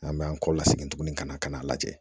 An bɛ an kɔ la segin tuguni ka na ka n'a lajɛ